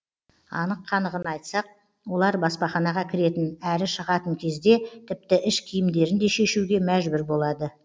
анық қанығын айтсақ олар баспаханаға кіретін әрі шығатын кезде тіпті іш киімдерін де шешуге мәжбүр болады